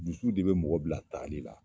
Dusu de bɛ mɔgɔ bila taali la!